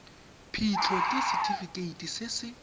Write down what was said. phitlho ke setefikeiti se se